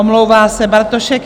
Omlouvá se Bartošek